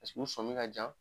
u sɔmin ka jan